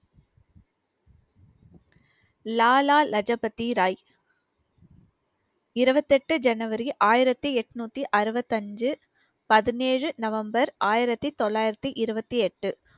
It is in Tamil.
லாலா லஜூ பதி ராய் இருவத்தி எட்டு ஜனவரி ஆயிரத்தி எட்நூத்தி அறுபத்தி அஞ்சு பதினேழு நவம்பர் ஆயிரத்தி தொள்ளாயிரத்தி இருவத்தி எட்டு